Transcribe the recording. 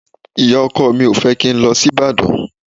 Ìyá-ọkọ mi ò fẹ́ kí n lọ sí Ìbàdàn.